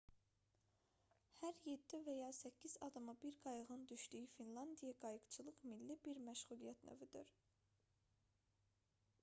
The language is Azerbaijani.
hər 7 və ya 8 adama bir qayığın düşdüyü finlandiyada qayıqçılıq milli bir məşğuliyyət növüdür